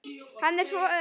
Hann er svo ör!